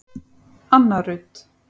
Anna Rut.